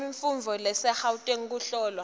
letemfundvo lasegauteng kuhlolwa